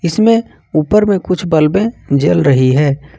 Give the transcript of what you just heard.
इसमें ऊपर में कुछ बल्बें जल रही हैं।